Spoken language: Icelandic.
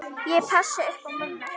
Ég passa upp á mömmu.